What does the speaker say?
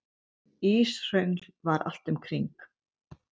Íshröngl var allt um kring.